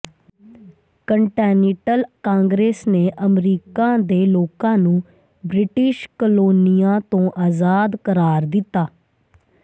continental congress ਨੇ America ਦੇ ਲੋਕਾਂ ਨੂੰ ਬ੍ਰਿਟਿਸ਼ ਕਲੋਨੀਆਂ ਤੋਂ ਆਜ਼ਾਦ ਕਰਾਰ ਦਿੱਤਾ